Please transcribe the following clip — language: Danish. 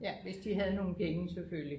Ja hvis de havde nogle penge selvfølgelig